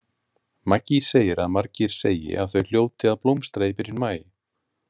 Maggie segir að margir segi að þau hljóti að blómstra í byrjun maí.